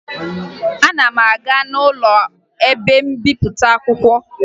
Ana ma aga n'ụlọ ebe mbipụta akwụkwọ